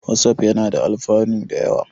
Watsaf yana da alfanu da yawa.